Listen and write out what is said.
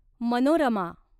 Manorama